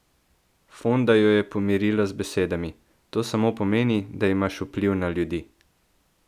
Fonda jo je pomirila z besedami: "To samo pomeni, da imaš vpliv na ljudi.